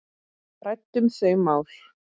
Ræddum þau mál.